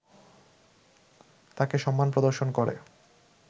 তাঁকে সম্মান প্রদর্শন করে